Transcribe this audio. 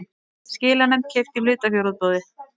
Skilanefnd keypti í hlutafjárútboði